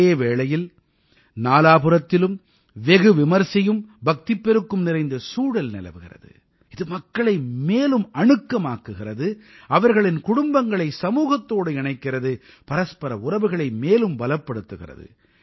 இந்த வேளையில் நாலாபுறத்திலும் வெகு விமரிசையும் பக்திப்பெருக்கும் நிறைந்த சூழல் நிலவுகிறது இது மக்களை மேலும் அணுக்கமாக்குகிறது அவர்களின் குடும்பங்களை சமூகத்தோடு இணைக்கிறது பரஸ்பர உறவுகளை மேலும் பலப்படுத்துகிறது